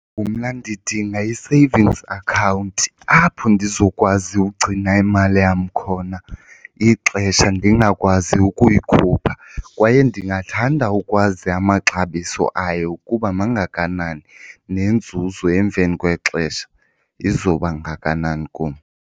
Mna ndidinga i-savings account apho ndizokwazi ugcina imali yam khona ixesha ndingakwazi ukuyikhupha. Kwaye ndingathanda ukwazi amaxabiso ayo ukuba mangakanani nenzuzo emveni kwexesha izoba ngakanani kum.